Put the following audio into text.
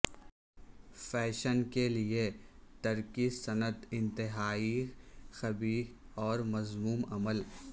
fashion کیلئے ترک سنت انتہائی قبیح اور مذموم عمل